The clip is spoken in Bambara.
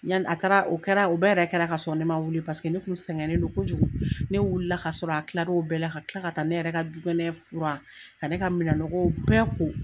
Yanni a taara o kɛra u bɛɛ yɛrɛ kɛra ka sɔrɔ ne man wuli paseke ne tun sɛgɛnnen do kojugu ne wulila ka sɔrɔ a kilara o bɛɛ la ka kila ka taa ne yɛrɛ ka dukɔnɔnɛ furan ka ne ka minɛn nɔgɔw bɛɛ ko.